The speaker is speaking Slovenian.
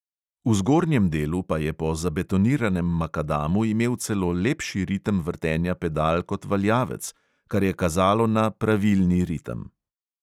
V zgornjem delu pa je po zabetoniranem makadamu imel celo lepši ritem vrtenja pedal kot valjavec, kar je kazalo na pravilni ritem.